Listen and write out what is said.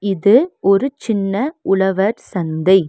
இது ஒரு சின்ன உழவர் சந்தை.